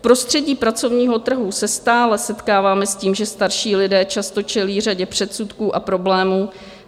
V prostředí pracovního trhu se stále setkáváme s tím, že starší lidé často čelí řadě předsudků a problémů.